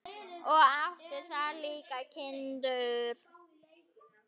Og átti þar líka kindur.